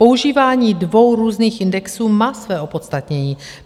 Používání dvou různých indexů má své opodstatnění.